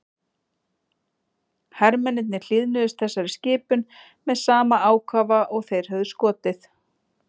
Hermennirnir hlýðnuðust þessari skipun með sama ákafa og þeir höfðu skotið.